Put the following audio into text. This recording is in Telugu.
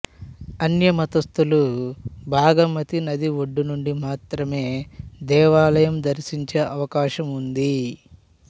అన్యమతస్థులు బాగమతి నది ఒడ్డునుండి మాత్రమే దేవాలయం దర్శించే అవకాశం ఉంది